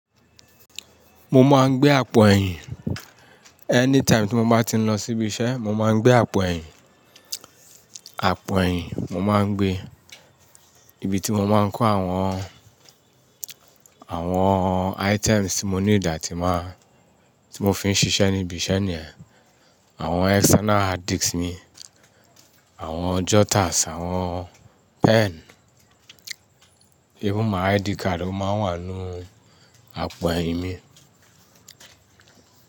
Mo máa ń gbé àpò ẹ̀yìn. Anytime tí mo bá ti ń lọ síbi iṣẹ́, mo máa ń gbé àpò ẹ̀yìn, àpò ẹ̀yìn mo máa ń gbé. Ibi tí mo máa ń kó àwọn, àwọn items tí mo need atií máa, tí mo fi ń ṣiṣẹ́ níbi iṣẹ́ niyen. Awọn external hard disk mi, àwọn jotters, àwọn pen, even my ID card o máa ń wà nínú àpò ẹ̀yìn mi.